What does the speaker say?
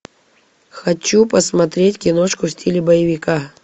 хочу посмотреть киношку в стиле боевика